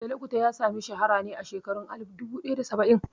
Fela Kuti ya sami shahara ne a shekarun alif duba ɗaya da saba'in